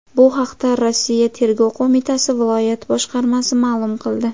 Bu haqda Rossiya Tergov qo‘mitasi viloyat boshqarmasi ma’lum qildi .